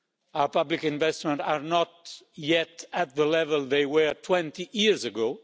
Our public investments are not yet at the level they were 20 years ago.